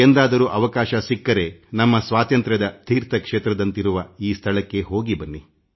ಎಂದಾದರೂ ಅವಕಾಶ ಸಿಕ್ಕರೆ ನಮ್ಮ ಸ್ವಾತಂತ್ರ್ಯದ ತೀರ್ಥ ಕ್ಷೇತ್ರವಾದ ಈ ಸ್ಥಳಕ್ಕೆ ಹೋಗಿ ಬನ್ನಿ